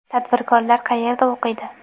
Tadbirkorlar qayerda o‘qiydi?.